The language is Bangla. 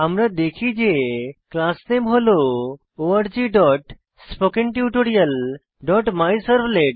আমরা দেখি যে ক্লাস নামে হল orgspokentutorialমাইসার্ভলেট